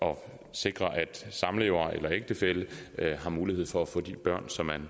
sikre at samlever eller ægtefælle har mulighed for at få de børn som man